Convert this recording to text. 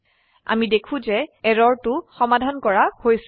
আমি দেখো যে এৰৰটো সমাধান কৰা হৈছে